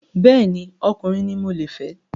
Bẹ́ẹ̀ni, ọkùnrin ni mo le fẹ́